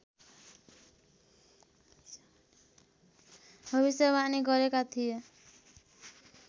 भविष्यवाणी गरेका थिए